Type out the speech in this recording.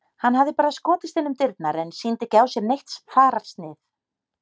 Hann hafði bara skotist inn um dyrnar en sýndi ekki á sér neitt fararsnið.